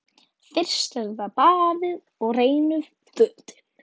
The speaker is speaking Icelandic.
Fyrst er það baðið og hreinu fötin.